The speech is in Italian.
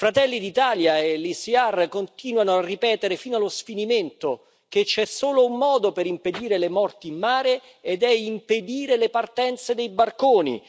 Fratelli d'Italia e l'ECR continuano a ripetere fino allo sfinimento che c'è solo un modo per impedire le morti in mare ed è impedire le partenze dei barconi.